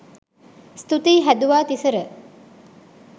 ස්තුතියි හැදුවා තිසර